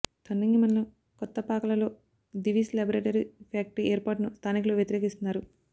తొండంగి మండలం కొత్తపాకాలలో Divi's laboratory factory ఏర్పాటును స్థానికులు వ్యతిరేకిస్తున్నారు